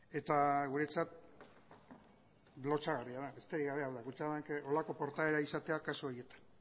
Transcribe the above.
eta guretzat lotsagarria da besterik gabe baina kutxabankek horrelako portaera izatea kasu horietan